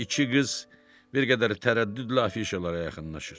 İki qız bir qədər tərəddüdlə afişalara yaxınlaşır.